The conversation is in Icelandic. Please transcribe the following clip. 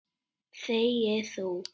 Þegi þú!